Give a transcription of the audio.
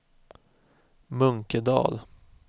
Munkedal